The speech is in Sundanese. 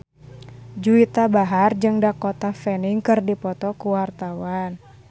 Juwita Bahar jeung Dakota Fanning keur dipoto ku wartawan